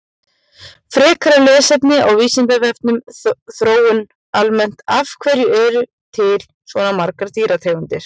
Frekara lesefni á Vísindavefnum Þróun almennt Af hverju eru til svona margar dýrategundir?